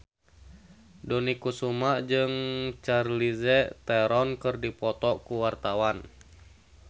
Dony Kesuma jeung Charlize Theron keur dipoto ku wartawan